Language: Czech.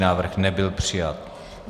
Návrh nebyl přijat.